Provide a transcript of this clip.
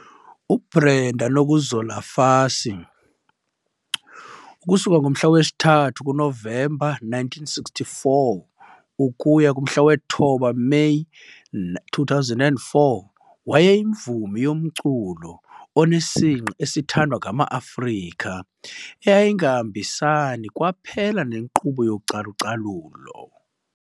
UBrenda Nokuzola Fassie 3 November 1964 - 9 May 2004, wayeyimvumi yomculo onesingqi esithandwa ngamaAfrika eyayingahambisani kwaphela nenkqubo yocalu-calulo.